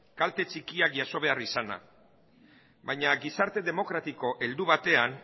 kalte txikiak jaso behar izana baina gizarte demokratiko heldu batean